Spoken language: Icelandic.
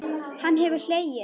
Hann hafði hlegið.